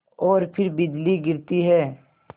और फिर बिजली गिरती है